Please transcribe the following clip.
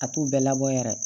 A t'u bɛɛ labɔ yɛrɛ